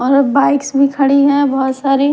और अब बाइक्स भी खड़ी हैं बहुत सारी--